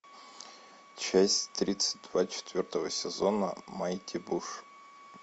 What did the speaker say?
часть тридцать два четвертого сезона майти буш